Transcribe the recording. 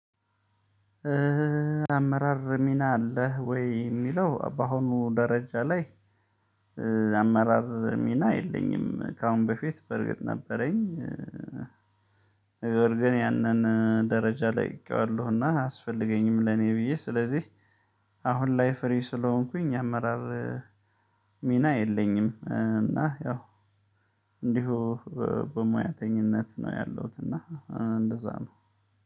አመራር ሚና አለህ ወይ የሚለው በአሁኑ ደረጃ ላይ? አመራር ሚና የለኝም ከአሁን በፊት በርግጥ ነበረኝ። ነገር ግን ያንን ደረጃ ልቅቄዋለው እና አያስፈልገኝም ለእኔ ብዬ ስለዚህ። አሁን ላይ ፍሪ ስለሆንኩኝ አመራር። ሚና የለኝም እና ያው። እንዲሁ በሙያተኝነት ነው ያለሁት እና እንደዚያ ነው።